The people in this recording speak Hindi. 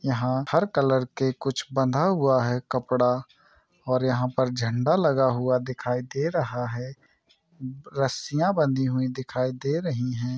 यहां हर कलर के कुछ बंधा हुआ है कपड़ा और यहां पर झंडा लगा हुआ दिखाई दे रहा हैं रस्सियां बंधी हुई दिखाई दे रही हैं।